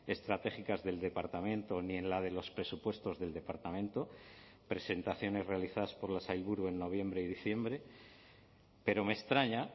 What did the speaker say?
estratégicas del departamento ni en la de los presupuestos del departamento presentaciones realizadas por la sailburu en noviembre y diciembre pero me extraña